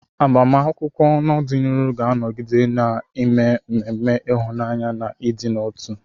Agbamakwụkwọ n'ọdịnihu ga-anọgide na-eme ememe ịhụnanya na ịdị n'otu.